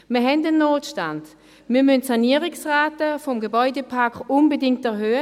Wir haben einen Notstand, wir müssen Sanierungsraten des Gebäudeparks unbedingt erhöhen.